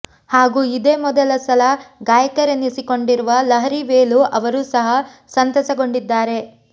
ಹಾಗೂ ಇದೇ ಮೊದಲ ಸಲ ಗಾಯಕರೆನಿಸಿಕೊಂಡಿರುವ ಲಹರಿ ವೇಲು ಅವರೂ ಸಹ ಸಂತಸಗೊಂಡಿದ್ದಾರೆ